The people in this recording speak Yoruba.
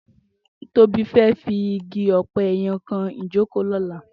Tobi fè fi igi òpè yèn kàn ijókó lòlá